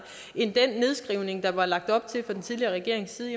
end den nedskrivning der var lagt op til fra den tidligere regerings side